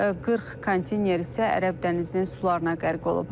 40 konteyner isə ərəb dənizinin sularına qərq olub.